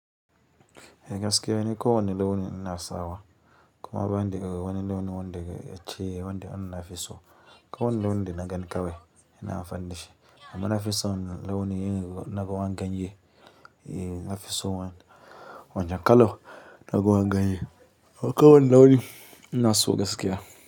Eh gaskiya, ni ko wani launi ina sawa. Kuma ba ni ko wani launi wanda ya ce wanda na nafi so. Ko wani launi da na gani kawai ina amfanin da shi. Amma na fi son launi irin na ruwan ganye. Eh na fison wa- wancan kalan na ruwan ganye. Ko wani launi ina so gaskiya.